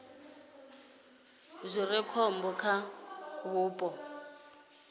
zwi re khombo kha vhupo